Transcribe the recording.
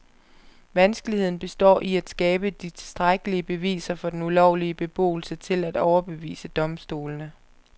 Vanskeligheden består i at skabe de tilstrækkelige beviser for den ulovlige beboelse til at overbevise domstolene.